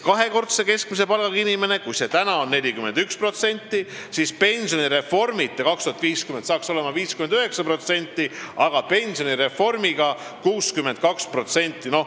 Kahekordset keskmist palka teenival inimesel on praegu see protsent 41, pensionireformita oleks see 2050. aastal 59%, aga pärast pensionireformi oleks see suurusjärgus 62%.